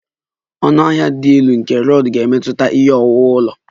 Ọnụahịa dị elu nke rod ga-emetụta ihe owuwu ụlọ